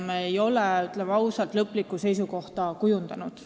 Me ei ole, ütleme ausalt, lõplikku seisukohta kujundanud.